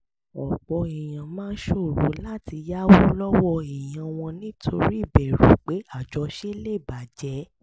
ọ̀pọ̀ èèyàn máa ń ṣòro láti yáwó lọ́wọ́ èèyàn wọn nítorí ìbẹ̀rù pé àjọṣe lè bà jẹ́